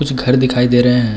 कुछ घर दिखाई दे रहे हैं।